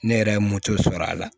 Ne yɛrɛ ye moto sɔrɔ a la